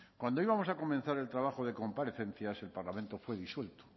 cuando íbamos a comenzar el trabajo de comparecencias el parlamento fue disuelto